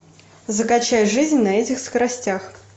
закачай жизнь на этих скоростях